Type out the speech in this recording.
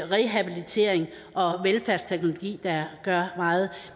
rehabilitering og velfærdsteknologi der gør meget